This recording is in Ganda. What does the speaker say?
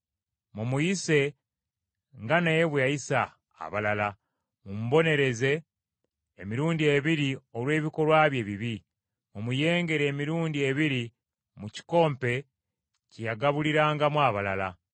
Mumuyise nga naye bwe yayisa abalala; mumubonereze emirundi ebiri olw’ebikolwa bye ebibi. Mumuyengere emirundi ebiri mu kikompe kye yagabulirangamu abalala.